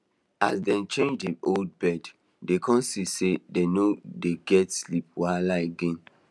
as dem change the old bed dey kon see say dem no dey get sleep wahala again